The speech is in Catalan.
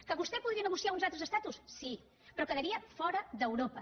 que vostè podria negociar uns altres estatus sí però quedaria fora d’europa